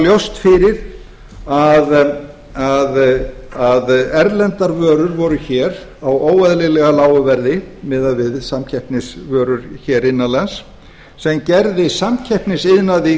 það lá ljóst fyrir að erlendar vörur voru hér á óeðlilega lágu verði miðað við samkeppnisvörur innan lands sem gerði samkeppnisiðnaði